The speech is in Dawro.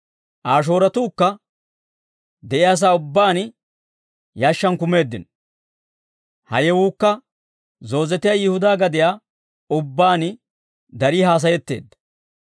Aa shooratuukka de'iyaasaa ubbaan yashshaan kumeeddino. Ha yewuukka zoozetiyaa Yihudaa gadiyaa ubbaan darii haasayetteedda.